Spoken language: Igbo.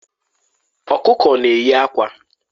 Ọkụkọ na-eyi akwa.